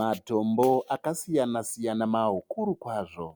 Matombo akasiyana -siyana makuru kwazvo.